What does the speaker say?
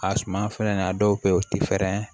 A suma fɛnɛ na a dɔw bɛ ye u ti fɛrɛ